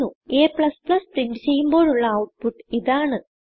a print ചെയ്യുമ്പോഴുള്ള output ഇതാണ്